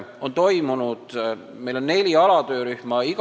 Meil on neli alatöörühma.